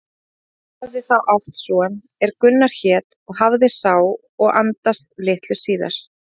Egill hafði þá átt son er Gunnar hét og hafði sá og andast litlu áður.